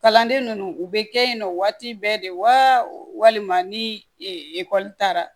Kalanden ninnu u bɛ kɛ yen nɔ waati bɛɛ de wa walima ni ekɔli taara